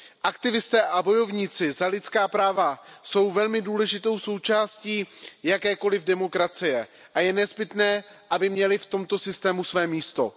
Aktivisté a bojovníci za lidská práva jsou velmi důležitou součástí jakékoliv demokracie a je nezbytné, aby měli v tomto systému své místo.